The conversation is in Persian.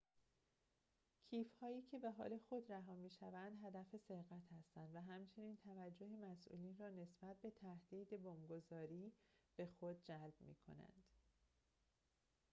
کیف هایی که به حال خود رها می‌شوند هدف سرقت هستند و همچنین توجه مسئولین را نسبت به تهدید بمب‌گذاری به خود جلب می‌کنند